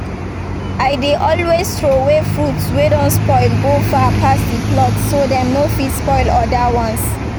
i dey always throway fruits way don spoil go far pass the plot so dem no fit spoil oda ones